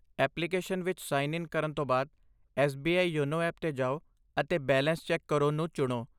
Application ਵਿੱਚ sign in ਕਰਨ ਤੋਂ ਬਾਅਦ, ਐਸ.ਬੀ.ਆਈ. ਯੋਨੋ ਐਪ 'ਤੇ ਜਾਓ ਅਤੇ ਬੈਲੇਂਸ ਚੈੱਕ ਕਰੋ ਨੂੰ ਚੁਣੋ।